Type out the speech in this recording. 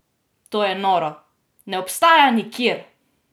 To je noro, ne obstaja nikjer!